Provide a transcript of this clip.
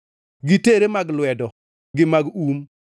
gi tere mag lwedo gi mag um,